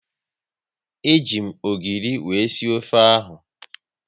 E ji m ogiri wéré sie ofe ahu